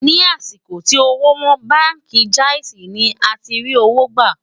ní àsìkò tí òwò wón, bánkì jaizi ní àti rí owó gbà